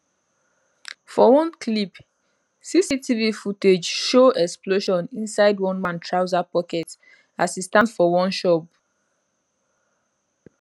for one clip cctv footage show explosion inside one man trouser pocket as e stand for one shop